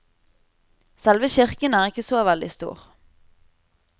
Selve kirken er ikke så veldig stor.